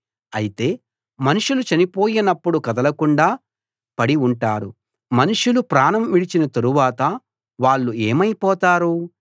అయితే మనుషులు చనిపోయినప్పుడు కదలకుండా పడి ఉంటారు మనుషులు ప్రాణం విడిచిన తరువాత వాళ్ళు ఏమైపోతారు